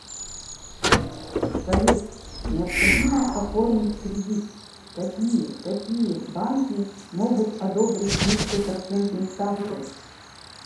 салют необходимо оформить кредит какие какие банки могут одобрить с низкой процентной ставкой